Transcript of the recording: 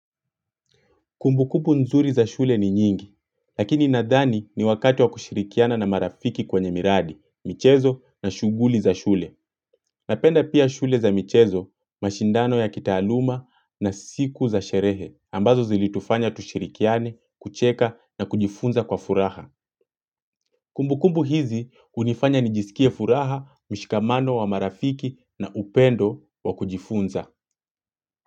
Kumbu kumbu nzuri za shule ni nyingi, lakini nadhani ni wakati wa kushirikiana na marafiki kwenye miradi, michezo na shuguli za shule. Napenda pia shule za michezo, mashindano ya kitaaluma na siku za sherehe, ambazo zilitufanya tushirikiane, kucheka na kujifunza kwa furaha. Kumbu kumbu hizi hunifanya nijisikie furaha, mshikamano wa marafiki na upendo wa kujifunza.